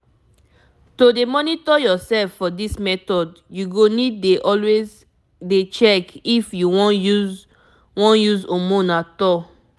this method need make you dey track yourself everyday if you no wan use hormone you sabi?